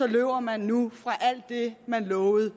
løber man nu fra alt det man lovede